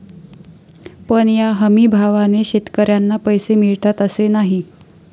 पण या हमीभावाने शेतकऱ्यांना पैसे मिळतात असे नाही.